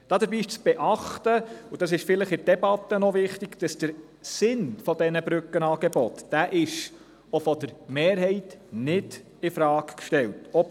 Dabei ist zu beachten, dass der Sinn dieser Brückenangebote auch von der Mehrheit nicht infrage gestellt wird.